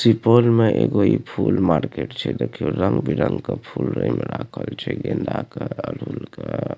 सुपौल में एगो इ फूल मार्केट छै देखियो रंग-बिरंग के फूल ए में राखल छै गेंदा के अरहुल के।